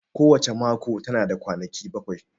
Ko wace mako tana da kwanaki bakwai